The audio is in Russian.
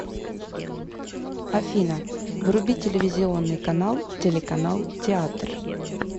афина вруби телевизионный канал телеканал театр